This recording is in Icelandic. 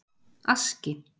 Aski